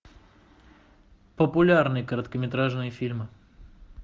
популярные короткометражные фильмы